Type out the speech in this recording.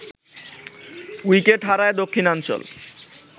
wicket হারায় দক্ষিণাঞ্চল